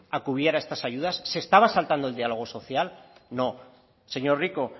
a a estas se estaba saltando el diálogo social no señor rico